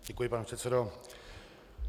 Děkuji, pane předsedo.